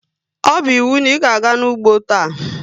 Ọ bu íwú na ịga-aga n'ugbo taa!